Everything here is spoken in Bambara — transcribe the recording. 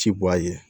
Ci bɔ a ye